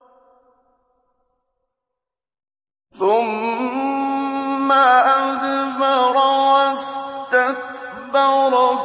ثُمَّ أَدْبَرَ وَاسْتَكْبَرَ